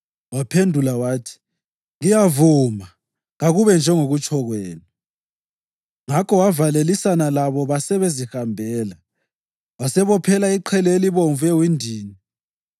Waphendula wathi, “Ngiyavuma, kakube njengokutsho kwenu.” Ngakho wavalelisana labo basebezihambela. Wasebophela iqhele elibomvu ewindini.